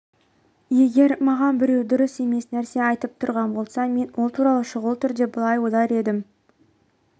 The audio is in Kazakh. егер маған біреу дұрыс емес нәрсе айтып тұрған болса мен ол туралы шұғыл түрде былай ойлар едім